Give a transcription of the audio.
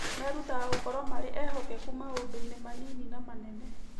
Merutaga gũkorũo marĩ ehokeku maũndũ-inĩ manini na manene.